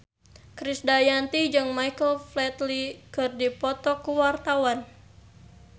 Krisdayanti jeung Michael Flatley keur dipoto ku wartawan